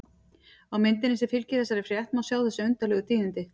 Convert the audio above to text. Á myndinni sem fylgir þessari frétt má sjá þessi undarlegu tíðindi.